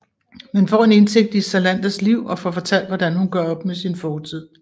Man får en indsigt i Salanders liv og får fortalt hvordan hun gør op med sin fortid